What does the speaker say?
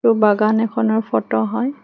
ও বাগান এখনৰ ফটো হয়।